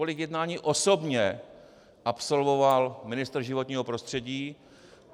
Kolik jednání osobně absolvoval ministr životního prostředí?